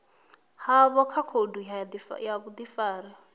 havho kha khoudu ya vhudifari